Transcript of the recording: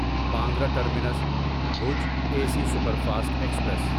Bandra terminus Bhuj A C superfast express